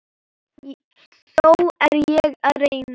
Þó er ég að reyna!